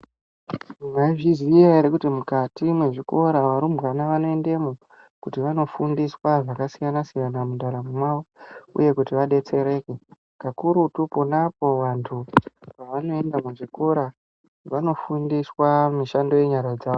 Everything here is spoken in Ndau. Mwaizviziya ere kuti mukati mwezvikora varumbwana vanoendemo, kuti vanofundiswa zvakasiyana-siyana mundaramo yavo ,uye kuti vadetsereke, kakurutu pona apo vantu vanoenda muzvikora, vanofundiswa mishando yenyara dzavo.